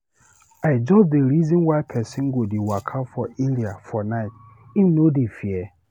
I just dey reason why pesin go dey waka for area for night, him no dey fear?